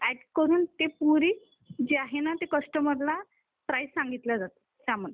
add करून ती पूर्ण जी आहे ना ती कस्टमरला प्राईस सांगितल्या जाते